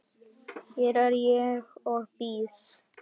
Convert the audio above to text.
Hér er ég og bíð.